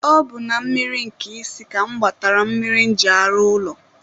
ọ bụ na mmiri Nkịsị ka mụ gbatara mmiri m ji arụ ụlọ